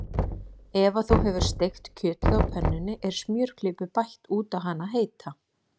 Eftir að þú hefur steikt kjötið á pönnunni er smjörklípu bætt út á hana heita.